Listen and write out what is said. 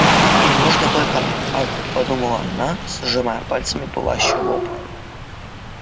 ей нужно только ах подумала она сжимая пальцами пылающий лоб